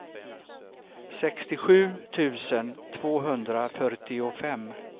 sextiosju tusen tvåhundrafyrtiofem